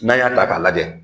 N'an y'a ta k'a lajɛ